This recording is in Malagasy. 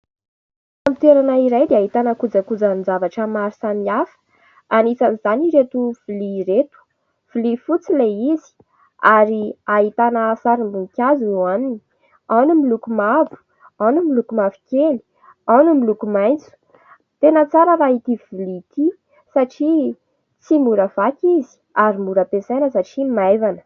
Fitoerana iray dia ahitana kojakojan-javatra maro samihafa anisan'izany ireto vilia ireto, vilia fotsy ilay izy ary ahitana sarim-boninkazo ao aminy, ao ny miloko mavo, ao ny miloko mavokely, ao ny miloko maitso, tena tsara raha ity vilia ity satria tsy mora vaky izy ary mora ampiasaina satria maivana.